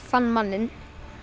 fann manninn